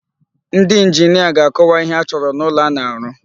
Ndị njinia ga-akọwa ihe achọrọ n'ụlọ a na-arụ.